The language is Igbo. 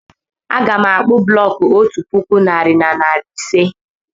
Aga m akpu bụlọku otú puku narị na narị ise